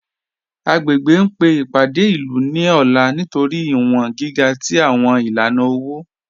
Agbègbè ń pe ipádé ilú ní ọ̀là nítorí iwọ̀n gíga tí awọn ilànà owo